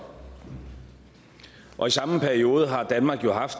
og i samme periode har danmark jo haft